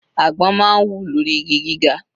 Àgbọn máa ń wù lórí igi gíga.